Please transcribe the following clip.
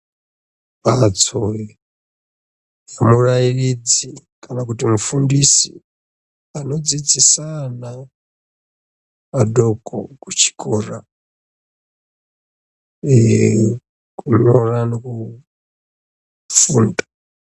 Mhatso dzemurairidzi kana kuti mufundisi anodzidzisa ana adoko kuchikora uye kunyora nekufunda.